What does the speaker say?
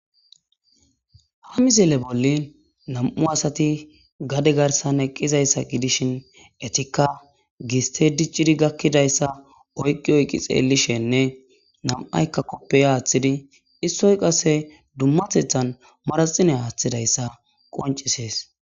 ha mizile bolli nam7u asati gade garsan eqqizayssa gidishin etikka giste diccidi gakkidayssa oyqi oyqi xeellishenne nam7aykka koppey aaththidi issoy qasse dummatethan maraxine haaththidayssa qoncisees